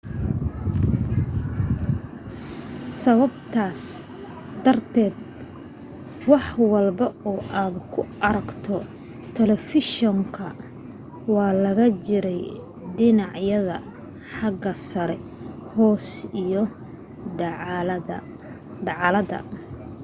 sababtaas darteed wax walba oo aad ku aragto talefishinka waxa laga jaray dhinacyada xagga sare hoose iyo dacallada